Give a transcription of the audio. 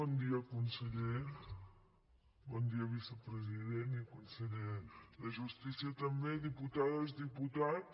bon dia conseller bon dia vicepresident i conseller de justícia també diputades diputats